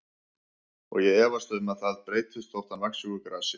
Og ég efast um að það breytist þótt hann vaxi úr grasi.